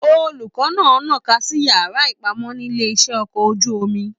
Olùkọ náà nà'ka sí yàrá ipamọ nílé iṣẹ ọkọ̀ ojú omi.